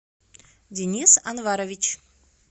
денис анварович